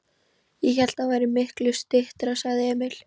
Ég hélt að það væri miklu styttra, sagði Emil.